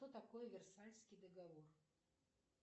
что такое версальский договор